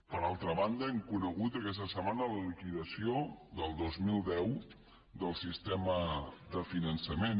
per altra banda hem conegut aquesta setmana la liquidació del dos mil deu del sistema de finançament